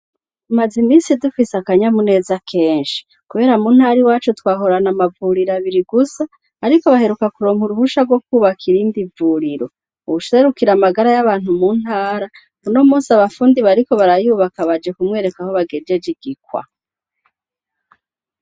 Tumaze imisi dufise akanyamuneza kenshi kubera muntara yacu twahorana amavuriro abiri gusa ariko baheruka kuronka uruhusha rwo kubakira iyindi vuriro uwuserukira amagara yabantu mu ntara uno musi abafundi bariko barayubaka baje kumwereka aho bagejeje igikwa